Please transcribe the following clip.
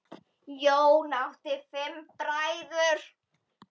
Jón átti fimm bræður.